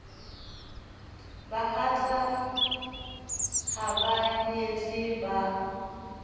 bahatsa ha ba nyetse ba